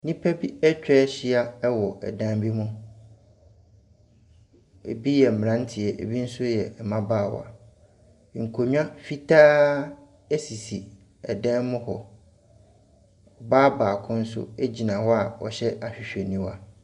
Nnipa bi atwa ahyia wɔ dan bi mu, bi yɛ mmeranteɛ, bi nso yɛ mmabaawa. Nkonnwa fitaa sisi dan mu hɔ. Ɔbaa baako nso gyina hɔ a ɔhyɛ ahwehwɛniwa.